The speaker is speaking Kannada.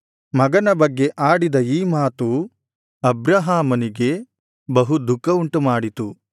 ಮಗನ ಬಗ್ಗೆ ಆಡಿದ ಈ ಮಾತು ಅಬ್ರಹಾಮನಿಗೆ ಬಹು ದುಃಖವುಂಟುಮಾಡಿತು